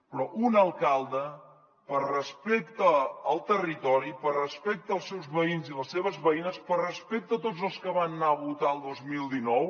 però un alcalde per respecte al territori per respecte als seus veïns i les seves veïnes per respecte a tots els que van anar a votar el dos mil dinou